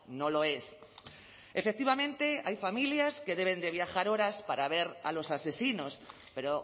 no lo es efectivamente hay familias que deben de viajar horas para ver a los asesinos pero